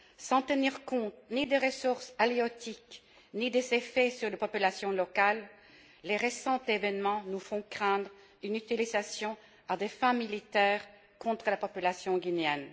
sans tenir compte ni des ressources halieutiques ni des effets sur les populations locales, les récents événements nous font craindre une utilisation à des fins militaires contre la population guinéenne.